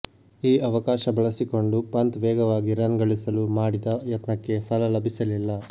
ಈ ಅವಕಾಶ ಬಳಸಿಕೊಂಡು ಪಂತ್ ವೇಗವಾಗಿ ರನ್ ಗಳಿಸಲು ಮಾಡಿದ ಯತ್ನಕ್ಕೆ ಫಲ ಲಭಿಸಲಿಲ್ಲ